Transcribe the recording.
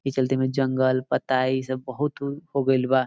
इ चलते में जंगल पत्ता इ सब बहुत हो गइल बा